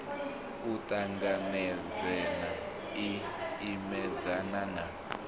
u ṱanganedzana i imedzana na